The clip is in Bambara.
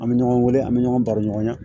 An bɛ ɲɔgɔn wele an bɛ ɲɔgɔn baro ɲɔgɔn na